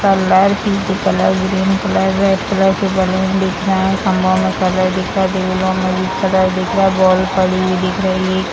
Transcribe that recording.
Colour pink colour green colour red colour की balloon दिख रहे हैं। कलर दिख रहा है। दिख रहा है। बॉल पड़ी हुई दिख रही है।